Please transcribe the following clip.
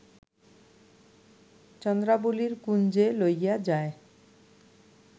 চন্দ্রাবলীর কুঞ্জে লইয়া যায়